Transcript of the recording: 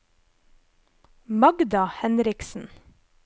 Magda Henriksen